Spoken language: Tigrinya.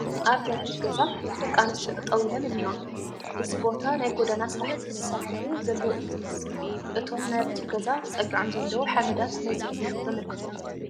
ኣብ በሪ ገዛ ደቂ ኣንስዮ ጠጠው ኢለን እኔዋ፡፡ እዞ ቦታ ናይ ጐደና ስራሕቲ ዝስርሐሉ ዘሎ እዩ ዝመስል፡፡ እቶም ናብቲ ገዛ ተፀጊዖም ዘለዉ ሓመዳት ነዚ እዮም ዘምልክቱና፡፡